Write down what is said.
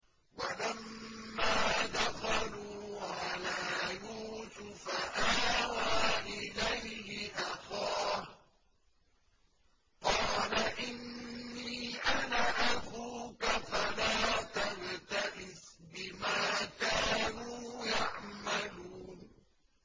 وَلَمَّا دَخَلُوا عَلَىٰ يُوسُفَ آوَىٰ إِلَيْهِ أَخَاهُ ۖ قَالَ إِنِّي أَنَا أَخُوكَ فَلَا تَبْتَئِسْ بِمَا كَانُوا يَعْمَلُونَ